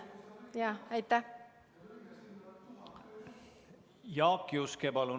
Jaak Juske, palun!